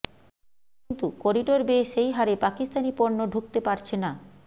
কিন্তু করিডর বেয়ে সেই হারে পাকিস্তানি পণ্য ঢুকতে পারছে না